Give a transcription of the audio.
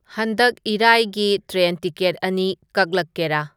ꯍꯟꯗꯛ ꯏꯔꯥꯏꯒꯤ train ticket ꯑꯅꯤ ꯀꯛꯂꯛꯀꯦꯔꯥ